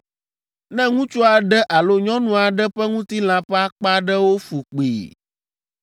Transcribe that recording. “Ne ŋutsu aɖe alo nyɔnu aɖe ƒe ŋutilã ƒe akpa aɖewo fu kpii,